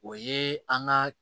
O ye an ka